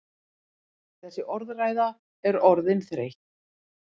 Þessi orðræða er orðin þreytt!